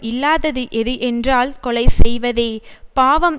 இல்லாதது எது என்றால் கொலை செய்வதே பாவம்